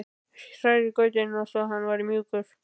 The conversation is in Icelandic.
Hrærið grautinn svo hann verði mjúkur.